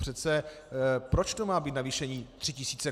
Přece proč to má být navýšení 3 000 korun?